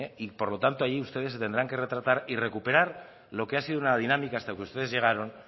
y por lo tanto allí ustedes se tendrán que retractar y recuperar lo que ha sido una dinámica hasta que ustedes llegaron